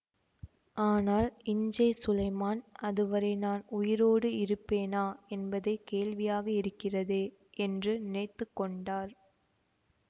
ஆனால் இஞ்சே சுலைமான் அது வரை நான் உயிரோடு இருப்பேனா என்பதே கேள்வியாக இருக்கிறதே என்று நினைத்து கொண்டார்